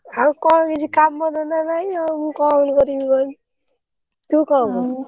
ଆଉ କଣ କିଛି କାମ ଧନ୍ଦା ନାହିଁ ଆଉ ମୁଁ କଣ କରିବି କହିଲୁ? ତୁ କଣ କରୁଛୁ?